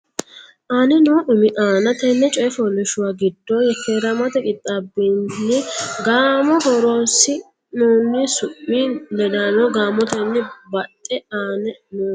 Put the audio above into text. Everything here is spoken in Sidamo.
aane noo umi aana Tenne coy fooliishshuwa giddo yekkeeramate qixxaabbine gaamo horoonsi noonni su mi ledaano gaamotenni baxxe aane noo.